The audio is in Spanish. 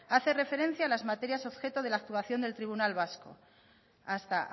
hace referencia a las materias objeto de la actuación del tribunal vasco hasta